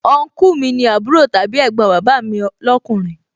Ọnkúù mi ni àbúrò tàbí ẹ̀gbọ́n bàbà mi lọ́kùnrin